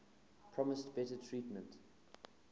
promised better treatment